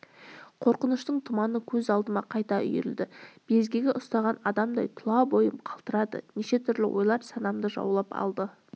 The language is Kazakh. қорқыныштың тұманы көз алдыма қайта үйірілді безгегі ұстаған адамдай тұла бойым қалтырады неше түрлі ойлар санамды жаулап алды